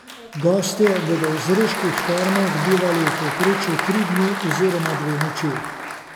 Gostje bodo v zreških termah bivali v povprečju tri dni oziroma dve noči.